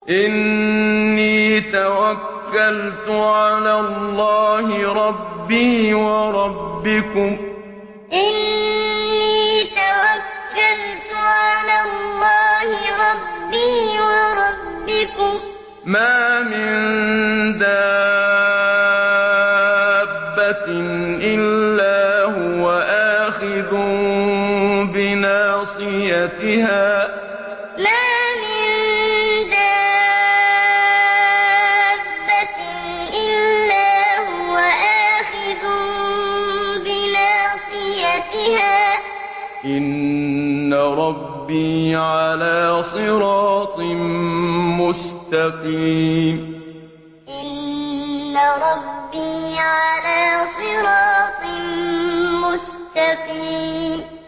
إِنِّي تَوَكَّلْتُ عَلَى اللَّهِ رَبِّي وَرَبِّكُم ۚ مَّا مِن دَابَّةٍ إِلَّا هُوَ آخِذٌ بِنَاصِيَتِهَا ۚ إِنَّ رَبِّي عَلَىٰ صِرَاطٍ مُّسْتَقِيمٍ إِنِّي تَوَكَّلْتُ عَلَى اللَّهِ رَبِّي وَرَبِّكُم ۚ مَّا مِن دَابَّةٍ إِلَّا هُوَ آخِذٌ بِنَاصِيَتِهَا ۚ إِنَّ رَبِّي عَلَىٰ صِرَاطٍ مُّسْتَقِيمٍ